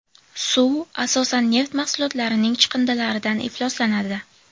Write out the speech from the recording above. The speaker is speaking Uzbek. Suv asosan neft mahsulotlarining chiqindilaridan ifloslanadi.